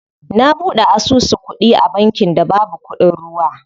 Na buɗe asusu kuɗi a bankin da babu kuɗin ruwa.